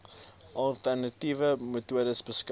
alternatiewe metodes beskik